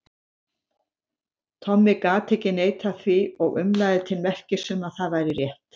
Tommi gat ekki neitað því og umlaði til merkis um að það væri rétt.